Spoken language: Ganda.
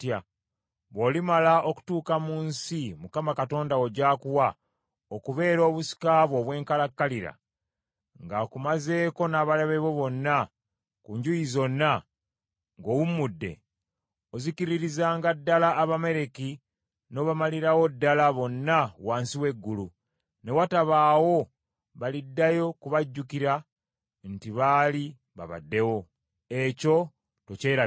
Bw’olimala okutuuka mu nsi Mukama Katonda wo gy’akuwa okubeera obusika bwo obw’enkalakkalira, ng’akumazeeko n’abalabe bo bonna ku njuyi zonna, ng’owummudde, ozikiririzanga ddala Abamaleki n’obamalirawo ddala bonna wansi w’eggulu, ne watabaawo baliddayo kubajjukira nti baali babaddewo. Ekyo tokyerabiranga.